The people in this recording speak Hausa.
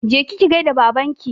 Je ki ki gaida Babanki!